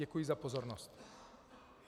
Děkuji za pozornost.